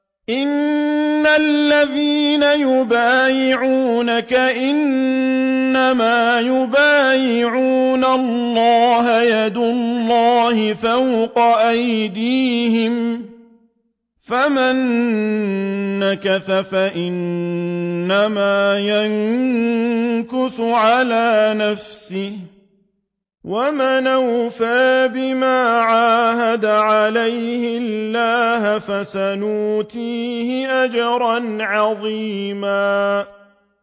إِنَّ الَّذِينَ يُبَايِعُونَكَ إِنَّمَا يُبَايِعُونَ اللَّهَ يَدُ اللَّهِ فَوْقَ أَيْدِيهِمْ ۚ فَمَن نَّكَثَ فَإِنَّمَا يَنكُثُ عَلَىٰ نَفْسِهِ ۖ وَمَنْ أَوْفَىٰ بِمَا عَاهَدَ عَلَيْهُ اللَّهَ فَسَيُؤْتِيهِ أَجْرًا عَظِيمًا